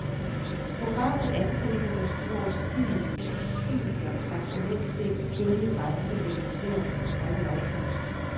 Programmet angriber den uoverstigelige, usynlige og traditionelt set hellige grænse mellem seerne og de optrædende.